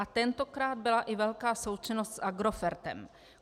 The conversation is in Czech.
A tentokrát byla i velká součinnost s Agrofertem.